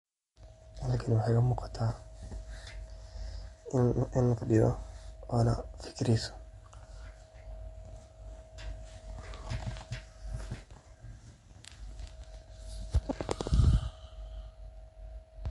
Halkan waxa igamuuqata in lafadiyo oo fikireyso.